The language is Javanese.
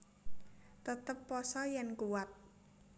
Tetep pasa yèn kuwat